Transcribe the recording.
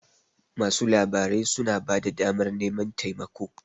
masu labarai suna ba da damar naman taimako